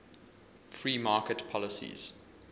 free market policies